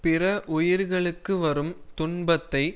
பிற உயிர்களுக்கு வரும் துன்பத்தை